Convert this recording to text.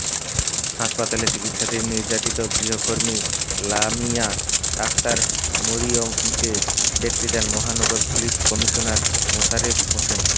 হাসপাতালে চিকিৎসাধীন নির্যাতিত গৃহকর্মী লামিয়া আক্তার মরিয়মকে দেখতে যান মহানগর পুলিশ কমিশনার মোশারেফ হোসেন